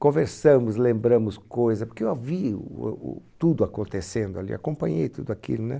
conversamos, lembramos coisas, porque eu vi o o tudo acontecendo ali, acompanhei tudo aquilo, né?